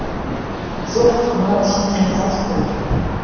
жоқ мынау шынымен бас қой